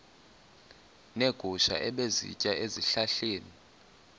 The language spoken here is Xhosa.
neegusha ebezisitya ezihlahleni